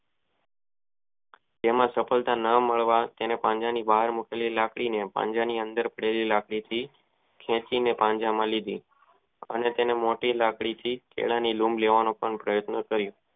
તેમાં સફળતા ન મળે તેને પાંજરા ની બહાર મુકેલી લાકડી ને તેને પાંજરા ની ફેરી લાગી ખેંચી ને પાંજરા માં લીધી અને તે માટે લાકડી થી કેળા ન લઉં લેવાનો પણ પ્રયત્ન કરીયો.